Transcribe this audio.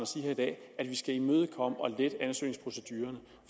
sige at vi skal imødekomme og lette ansøgningsprocedurerne